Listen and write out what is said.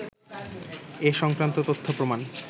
এ সংক্রান্ত তথ্য-প্রমাণ